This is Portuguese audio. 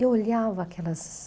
Eu olhava aquelas...